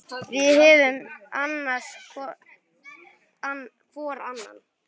Við höfum annast hvor annan.